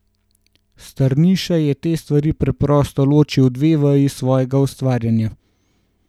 Strniša je te stvari preprosto ločil v dve veji svojega ustvarjanja.